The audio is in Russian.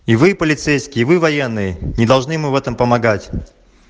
и вы полицейские вы военные не должны ему в этом помогать